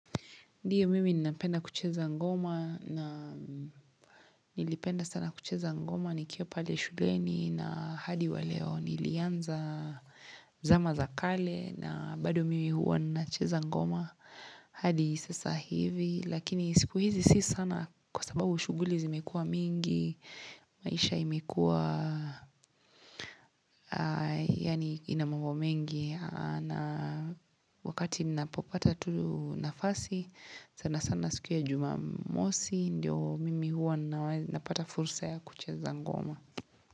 Ndiyo mimi ninapenda kucheza ngoma na nilipenda sana kucheza ngoma nikiwa pale shuleni na hadi wa leo nilianza zama za kale na bado mimi huwa ninacheza ngoma hadi sasa hivi. Lakini siku hizi si sana kwa sababu shughuli zimekua mingi maisha imekua yani ina mambo mengi Wakati nina popata tu nafasi sana sana siku ya jumamosi ndiyo mimi huwa napata fursa ya kucheza ngoma.